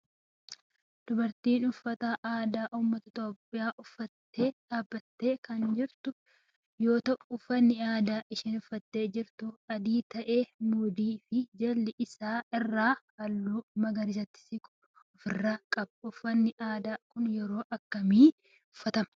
Dubartiin tun uffata aadaa ummata Itiyoophiyaa uffattee dhaabbattee kan jirtu yoo ta'u uffanni aadaa isheen uffattee jirtu adii ta'ee mudhii fi jala isaa irraa halluu magariisatti siqu of irraa qaba. uffanni aadaa kun yeroo akkami uffatama?